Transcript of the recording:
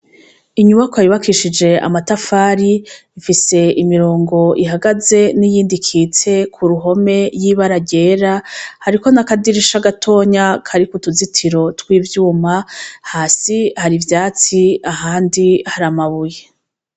Inyubakwa yubakishije amatafari ifise imirongo ihagaze n'iyindi ikitse Ku ruhome y'ibara ryera hariko n'akadirisha gatonya kariko utuzitiro tw'ivyuma hasi Hari ivyatsi ahandi Hari amabuye.